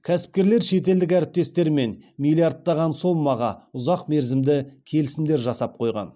кәсіпкерлер шетелдік әріптестермен миллиардтаған сомаға ұзақ мерзімді келісімдер жасап қойған